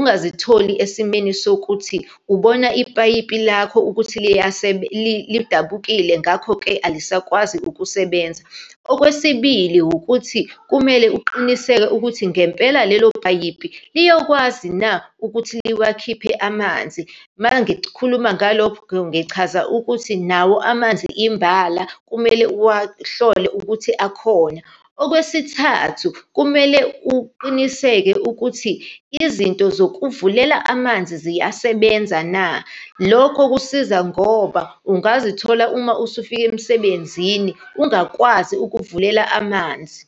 ungazitholi esimeni sokuthi ubona ipayipi lakho ukuthi lidabukile, ngakho-ke alisakwazi ukusebenza. Okwesibili wukuthi, kumele uqiniseke ukuthi ngempela lelo payipi liyokwazi na ukuthi liwakhiphe amanzi. Uma ngikhuluma ngalokho, ngichaza ukuthi nawo amanzi imbala kumele uwahlole ukuthi akhona. Okwesithathu, kumele uqiniseke ukuthi izinto zokuvulela amanzi ziyasebenza na. Lokho kusiza ngoba ungazithola, uma usufika emsebenzini, ungakwazi ukuvulela amanzi.